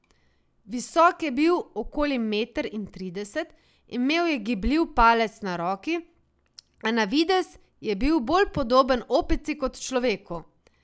Visok je bil okoli meter in trideset, imel je gibljiv palec na roki, a na videz je bil bolj podoben opici kot človeku.